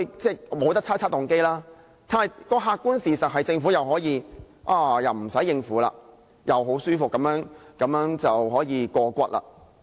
即使不可以猜測動機，但客觀事實是，政府可以再次不用應付議員，可以很舒服地過關。